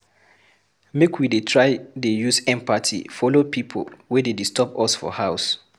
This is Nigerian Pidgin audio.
Make we dey try dey use empathy follow pipo wey dey disturb us for house.